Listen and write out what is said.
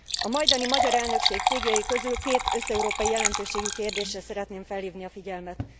A majdani magyar elnökség céljai közül két összeurópai jelentőségű kérdésre szeretném felhívni a figyelmet.